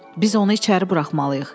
“Biz onu içəri buraxmalıyıq.